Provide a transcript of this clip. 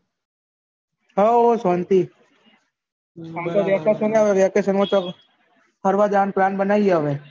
હવ શાંતિ આ તો vacation આવે vacation માં તો ફરવા જવાનું plan બનાયીયે હવે